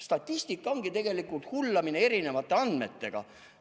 Statistika ongi tegelikult hullamine erinevate andmetega.